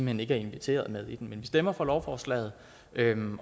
hen ikke er inviteret med i den men vi stemmer for lovforslaget